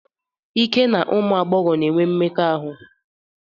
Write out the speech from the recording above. Ike n'ụmụ agbọghọ na-enwe mmekọahụ.